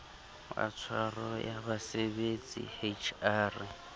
wa tshwaro ya basebetsi hr